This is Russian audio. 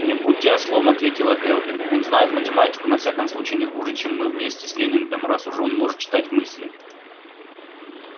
не будьте ослом ответила кэлвин он знает математику на всяком случае не хуже чем мы вместе с лэннингом раз уж он может читать мысли